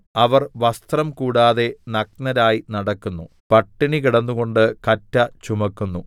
അവർ വസ്ത്രം കൂടാതെ നഗ്നരായി നടക്കുന്നു പട്ടിണി കിടന്നുകൊണ്ട് കറ്റ ചുമക്കുന്നു